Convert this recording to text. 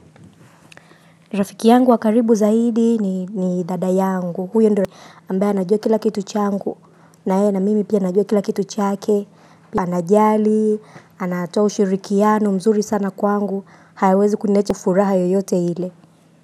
Rafiki yangu wa karibu zaidi ni dada yangu huyo ndio ambaye anajua kila kitu changu naye na mimi pia najua kila kitu chake anajali anatoa ushirikiano mzuri sana kwangu hawezi kuniacha furaha yoyote ile.